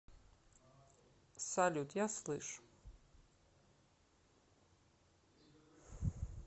салют я слышу